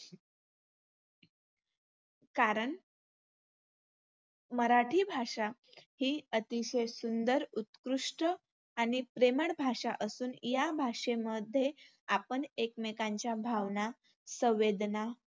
कारण मराठी भाषा ही अतिशय सुंदर, उत्कृष्ट आणि प्रेमळ भाषा असून या भाषेमध्ये आपण एकमेकांच्या भावना, संवेदना